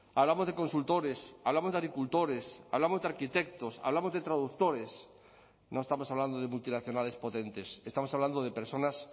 hablamos de consultores hablamos de agricultores hablamos de arquitectos hablamos de traductores no estamos hablando de multinacionales potentes estamos hablando de personas